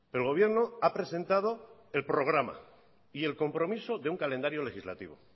el gobierno ha presentado el programa y el compromiso de un calendario legislativo